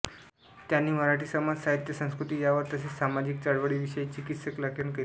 त्यांनी मराठी समाज साहित्य व संस्कृती यावर तसेच सामाजिक चळवळींविषयी चिकित्सक लेखन केले